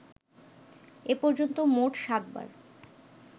এ পর্যন্ত মোট সাত বার